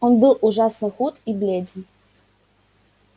он был ужасно худ и бледен